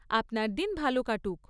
আপনার দিন ভালো কাটুক।